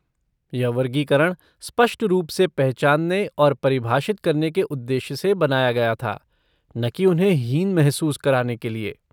यह वर्गीकरण स्पष्ट रूप से पहचानने और परिभाषित करने के उद्देश्य से बनाया गया था, न कि उन्हें हीन महसूस कराने के लिए।